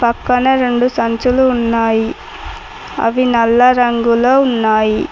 పక్కన రొండు సంచులు ఉన్నాయి అవి నల్ల రంగులో ఉన్నాయి.